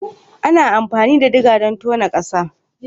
Ana amfani da digger don tono ƙasa